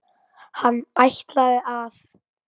Hann ætlaði að.